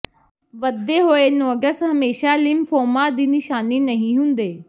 ਵਧੇ ਹੋਏ ਨੋਡਸ ਹਮੇਸ਼ਾ ਲਿੰਫੋਮਾ ਦੀ ਨਿਸ਼ਾਨੀ ਨਹੀਂ ਹੁੰਦੇ